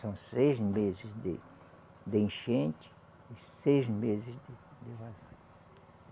São seis meses de de enchente e seis meses de de vazio.